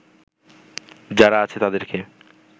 যারা আছে তাদেরকে